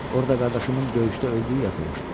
Orda qardaşımın döyüşdə öldüyü yazılmışdı.